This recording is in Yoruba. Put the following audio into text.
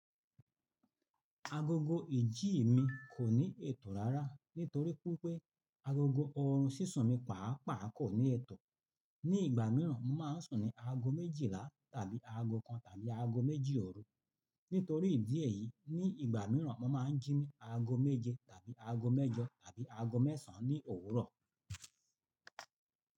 Agogo ìjí mi kò ní ètò rárá nítorí pé agogo ọ̀run sísun mi pàápàá kò ní ètò. Ní ìgbà mìíràn mo máa ń sùn ní aago méjìlá tàbí aago kan tàbí aago méjì ọ̀rú. Nítorí ìdí èyí ní ìgbà mìíràn mo máa ń jí ní aago méje tàbí aago mẹ́jọ tàbí aago mẹ́sàn ní òwúrọ̀